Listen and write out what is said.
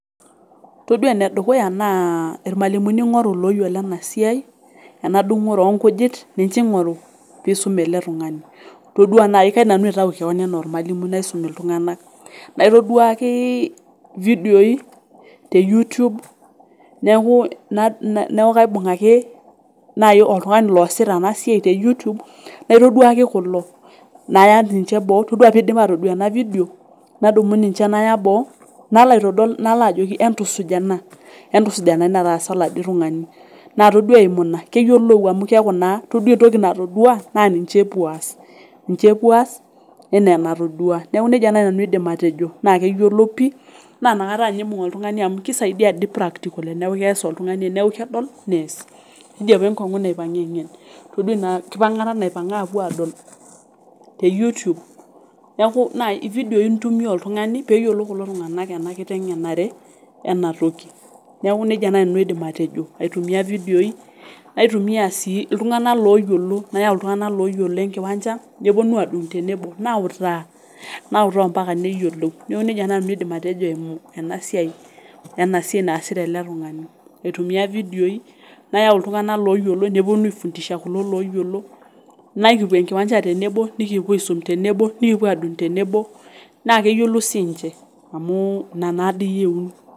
Todua enedukuya naa irmwalimuni ing'oru loyiolo enasiai, enadungore onkujit ninche ingoru pisum ele tungani , todua nai kaidim nanu aitayu kewon anaa ormwalimui naisum iltunganak naitoduaki vidioi teyoutube neku,, neku kaibung ake nai oltungani losita enasiai teyoutube naitoduaki kulo naya ninche boo, todua pidip atodol ena video nadumu ninche naya boo , nalaajoki entusuj ena, entusuj ena nadii nataasa oladiii tungani naa todua eimu ina keyiolou amu todua entoki natodua naa ninche epuo aas , niche epuo aas enaa enatodua niaku nejia nai nanu aidim atejo naa keyiolou pi naa inakata ninye ibung oltungani amu kisaidia dii practical teniaku kedol oltungani, teniaku kedol nees. Keji apa enkongu naipanga engen, todua inakipangata , naipanga apuo adol teyoutube niaku naa ividioi intumia oltungani peyiolou kulo tungani enare enatoki , niaku nejia nai nanu aidim atejo , aitumia vidioi , naitumia sii iltunganak loyiolo , nayau iltunganak loyiolo enkiwanja neponu adung tenebo, nautaa , nautaa mpaka neyiolou, niaku nejia nanu nanu aidim atejo eimu ena siai ,ena siai naasita ele tungani, aitumia vidioi , nayau iltunganak loyiolo , neponu aifundisha kulo loyiolo, nekipuo enkiwanja tenebo , nikipuo aisum tenebo, nikipuo adung tenebo naa keyiolou sinche amu ina naadi eyieuni.